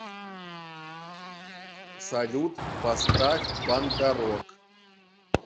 салют поставь панда рок